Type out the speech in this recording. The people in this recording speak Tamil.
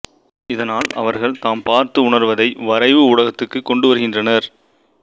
இதனால் அவர்கள் தாம் பார்த்து உணர்வதை வரைவு ஊடகத்துக்குக் கொண்டுவருகின்றனர்